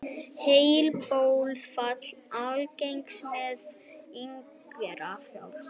Heilablóðfall algengara meðal yngra fólks